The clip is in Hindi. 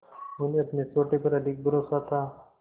उन्हें अपने सोटे पर अधिक भरोसा था